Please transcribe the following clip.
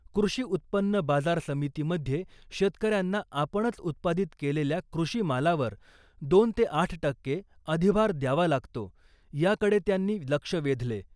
कृषी उत्पन्न बाजार समितीमध्ये शेतकऱ्यांना आपणच उत्पादित केलेल्या कृषीमालावर दोन ते आठ टक्के अधिभार द्यावा लागतो याकडे त्यांनी लक्ष वेधले .